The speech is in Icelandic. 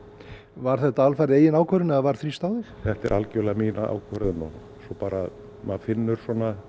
var þetta alfarið þín ákvörðun eða var þrýst á þig þetta var algjörlega mín ákvörðun og maður finnur